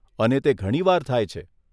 અને તે ઘણી વાર થાય છે.